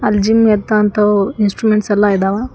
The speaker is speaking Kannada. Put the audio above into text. ಜಿಮ್ ಎತವಂತವು ಇನ್ಸ್ಟಾರುಮೆಂಟ್ಸ್ ಎಲ್ಲಾ ಇದಾವ.